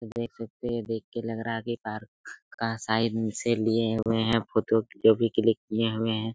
देख सकते है देख के लग रहा है की पार्क का साइड से लिए हुए है फोटो भी क्लिक किए हुए है।